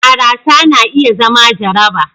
barasa na iya zama jaraba